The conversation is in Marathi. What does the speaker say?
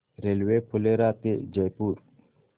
रेल्वे फुलेरा ते जयपूर